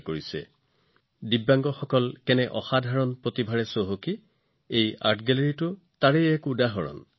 এই কলা বিথীকাটো হৈছে অন্য বেলেগ ধৰণে সক্ষম অংশীদাৰসকলৰ অসাধাৰণ প্ৰতিভাৰে সমৃদ্ধ আৰু তেওঁলোকৰ কিমান অসাধাৰণ ক্ষমতা আছে তাৰ এক উদাহৰণ